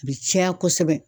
A bɛ caya kosɛbɛ.